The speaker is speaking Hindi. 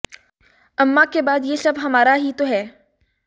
अम्मा के बाद यह सब हमारा ही तो है